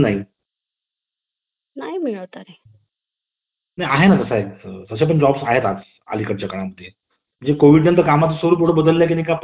आता समजून घेऊया आपण business चे फायदे तर business चे फायदे असे असणार की तुम्ही व्यवसाय करत असाल तर तुम्ही कोणाच्या हाताखाली काम करणार नाही